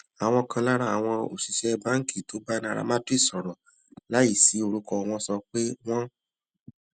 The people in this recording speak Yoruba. àwọn kan lára àwọn òṣìṣé báńkì tó bá nairametrics sòrò láìsí orúkọ wọn sọ pé wọn